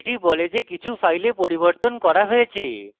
এটি বলে যে কিছু files পরিবর্তন করা হয়েছে